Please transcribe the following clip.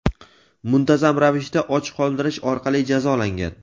muntazam ravishda och qoldirish orqali jazolangan.